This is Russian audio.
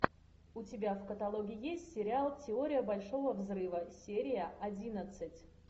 у тебя в каталоге есть сериал теория большого взрыва серия одиннадцать